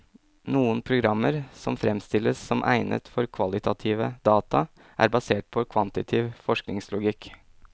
Noen programmer som fremstilles som egnet for kvalitative data, er basert på en kvantitativ forskningslogikk.